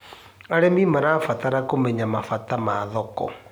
Arĩmĩ marabatara kũmenya mabata ma thoko